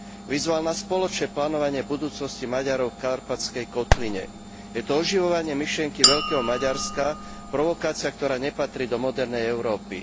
Vyzval na spoločné plánovanie budúcnosti Maďarov v Karpatskej kotline. Je to oživovanie myšlienky veľkého Maďarska provokácia, ktorá nepatrí do modernej Európy.